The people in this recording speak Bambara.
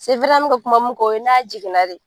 an meka kuma min kan o ye n'a jiginna de ye.